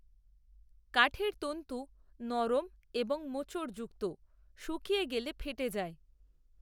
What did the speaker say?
কাঠের তন্ত্ত নরম, এবং মোচড়যুক্ত, শুকিয়ে গেলে ফেটে যায়